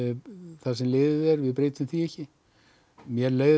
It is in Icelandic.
það sem liðið er við breytum því ekki mér leið